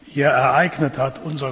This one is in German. hier ereignet hat.